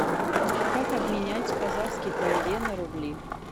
как обменять казахский тенге на рубли